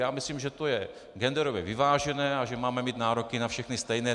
Já myslím, že to je genderově vyvážené a že máme mít nároky na všechny stejné.